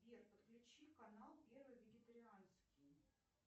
сбер подключи канал первый вегетарианский